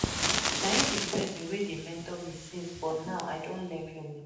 Na im be the person wey dey mentor me since but now I don learn finish